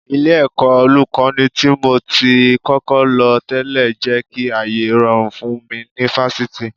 Ilé-ẹ̀kọ́ Olùkọ́ní tí mo ti kọ́kọ́ lọ tẹ́lẹ̀ jẹ́ kí ayé rọrùn fún mi ní Fáṣítì